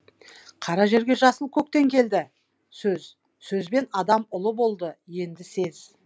қара жерге жасыл көктен келді сөз сөзбен адам ұлы болды енді сез